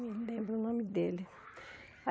Não lembro o nome dele. Aí